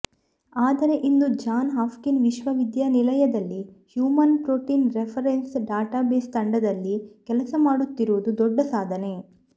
ಆದರೆ ಇಂದು John Hopkins ವಿಶ್ವವಿದ್ಯಾಲಯದಲ್ಲಿ ಹ್ಯೂಮನ್ ಪ್ರೋಟಿನ್ ರೆಫರೆನ್ಸ್ ಡಾಟಾಬೇಸ್ ತಂಡದಲ್ಲಿ ಕೆಲಸ ಮಾಡುತ್ತಿರುವುದು ದೊಡ್ಡ ಸಾಧನೆ